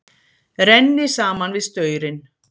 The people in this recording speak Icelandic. Renni saman við staurinn.